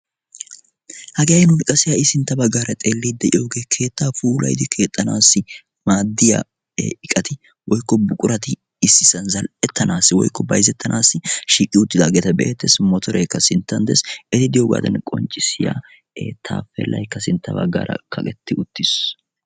hagee nuuni qassi ha'i sintta baggaara xeelliiddi de'iyogee keettaa puulayidi keexxanaassi maaddiya iqati woyikko buqurati issisan zal'ettanaassi woyikko bayizettanaassi shiiqi uttidaageeta be'eettes. motoreekka sinttan des. eti diyogaadan qonccissiya taappeellayikka baggaara kaqetti uttis.